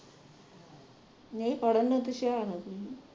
ਨਹੀਂ ਪੜ੍ਹਨ ਵਿਚ ਹੋਸ਼ਿਆਰ ਆ